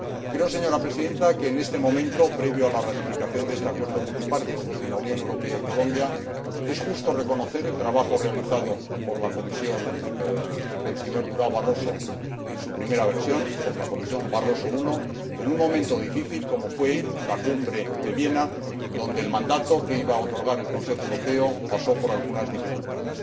Creo, señora Presidenta, que, en este momento previo a la ratificación de este Acuerdo multilateral entre la Unión Europea y Colombia, es justo reconocer el trabajo realizado por la Comisión del señor Durão Barroso en su primera formación, la Comisión Barroso I, en un momento difícil como fue la Cumbre de Viena, cuando el mandato que iba a otorgar el Consejo Europeo pasó por algunas dificultades.